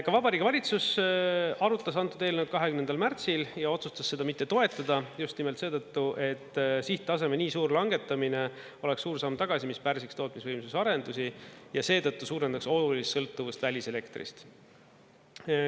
Ka Vabariigi Valitsus arutas antud eelnõu 20. märtsil ja otsustas seda mitte toetada just nimelt seetõttu, et sihttaseme nii suur langetamine oleks suur samm tagasi, mis pärsiks tootmisvõimsuse arendusi ja seetõttu suurendaks olulist sõltuvust väliselektrist.